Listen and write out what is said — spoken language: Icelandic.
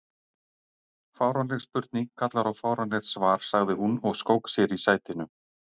Fáránleg spurning kallar á fáránlegt svar sagði hún og skók sér í sætinu.